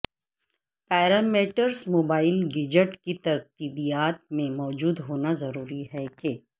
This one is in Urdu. پیرامیٹرز موبائل گیجٹ کی ترتیبات میں موجود ہونا ضروری ہے کہ